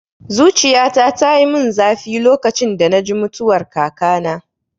Zuciyata tayi mun zafi lokacin da naji mutuwar kakana